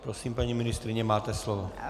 Prosím, paní ministryně, máte slovo.